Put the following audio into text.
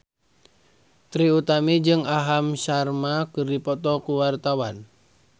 Trie Utami jeung Aham Sharma keur dipoto ku wartawan